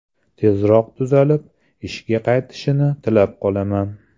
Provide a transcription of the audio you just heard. Tezroq tuzalib, ishga qaytishini tilab qolaman.